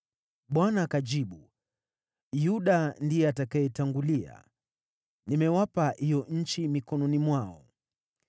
Bwana akajibu, “Yuda ndiye atakayetangulia; nimewapa hiyo nchi mikononi mwao.”